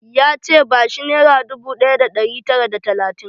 Ya ce 'Ba shi nera dubu ɗaya da ɗari tara da talatin'!